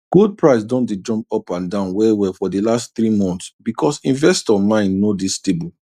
gold price don dey jump up and down wellwell for de last three months because investor mind no dey stable